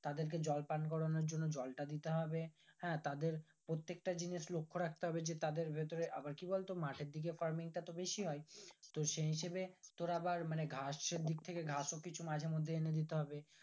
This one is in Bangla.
তাদেরকে জল পান করানোর জন্য জলটা দিতে হবে হ্যাঁ তাদের প্রত্যেকটা জিনিস লক্ষ রাখতে হবে যে তাদের ভিতরে আবার কি বলতো মাঠের দিকে farming টা তো বেশি হয় তো সেই হিসাবে তোর আবার মানে ঘাসের দিক থেকে ঘাস ও কিছু এনে দিতে হবে